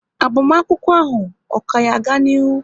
Agbamakwụkwọ ahụ, ọ ka yá ga n'ilu?